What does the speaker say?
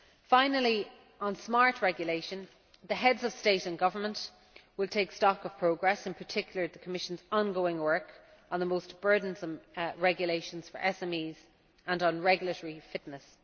Finally, on smart regulation, the Heads of State and Government will take stock of progress, in particular the Commission's ongoing work on the most burdensome regulations for SMEs and on regulatory fitness.